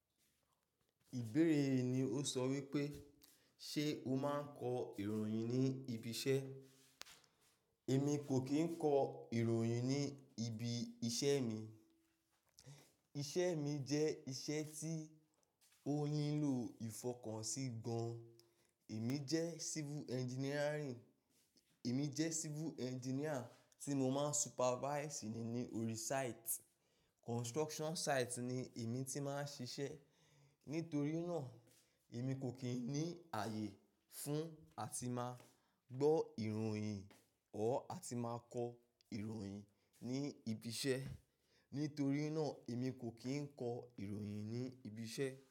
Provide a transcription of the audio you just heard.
Ìbéèrè yii ni ó sọ wípé, "Ṣé o máa ń kọ ìròyìn ní ibi iṣẹ́?" Èmi kò kí ń kọ ìròyìn ní ibi iṣẹ́ mi. Iṣẹ́ mi jẹ́ iṣẹ́ tí ó nílò ìfọkànsí gan-an. Èmi jẹ́ civil engineering-- èmi jẹ́ civil engineer tí mo máa ń supervise ni ní orí site. Construction site ni èmi ti máa ń ṣiṣẹ́. Nítorí náà, èmi kò kí ń ní ààyè fún àti máa gbọ́ ìròyìn or àti máa kọ ìròyìn ní ibi iṣẹ́. Nítorí náà, èmi kò kí ń kọ ìròyìn ní ibi iṣẹ́.